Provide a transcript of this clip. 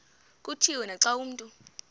kutshiwo naxa abantu